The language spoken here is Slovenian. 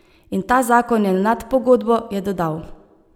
In ta zakon je nad pogodbo, je dodal.